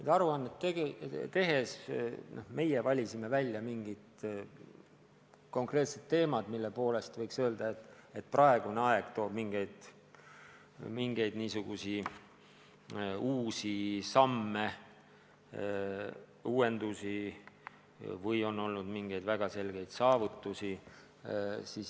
Seda aruannet tehes me valisime välja konkreetsed teemad, mille puhul võib öelda, et praegune aeg nõuab mingeid uusi samme, uuendusi, või kus on olnud mingeid väga ilmseid saavutusi.